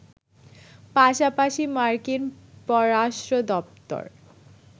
পাশাপাশি মার্কিন পররাষ্ট্র দপ্তর